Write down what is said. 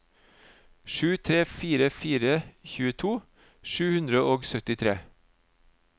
sju tre fire fire tjueto sju hundre og syttitre